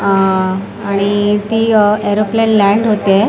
अ आणि ती aeroplane land होते.